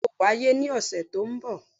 Bẹ́ẹ̀ni, yoo waye ni ọsẹ to nbo.